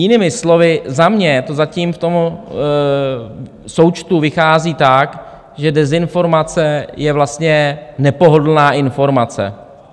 Jinými slovy, za mě to zatím v tom součtu vychází tak, že dezinformace je vlastně nepohodlná informace.